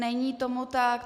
Není tomu tak.